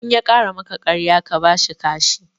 In ya ƙara maka ƙarya ka bashi kashi